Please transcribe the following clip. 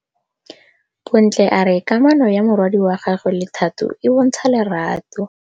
Bontle a re kamanô ya morwadi wa gagwe le Thato e bontsha lerato.